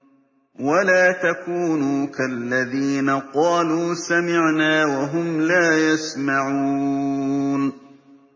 وَلَا تَكُونُوا كَالَّذِينَ قَالُوا سَمِعْنَا وَهُمْ لَا يَسْمَعُونَ